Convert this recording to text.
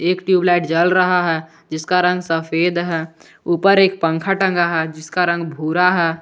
एक ट्यूबलाइट जल रहा है जिसका रंग सफेद है ऊपर एक पंखा टंगा है जिसका रंग भूरा है।